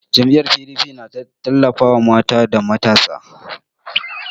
Jam'iyyar PDP na tallafawa mata da matasa.